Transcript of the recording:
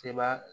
Seba